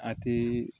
A ti